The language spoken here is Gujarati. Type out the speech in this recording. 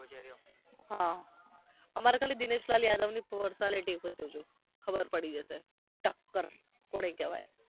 હા અમારે ખાલી દિનેશલાલ યાદવની personality જો જો ખબર પડી જશે ટક્કર કોને કહેવાય